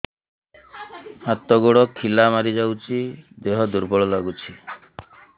ହାତ ଗୋଡ ଖିଲା ମାରିଯାଉଛି ଦେହ ଦୁର୍ବଳ ଲାଗୁଚି